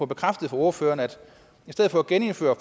bekræftet af ordføreren at i stedet for at genindføre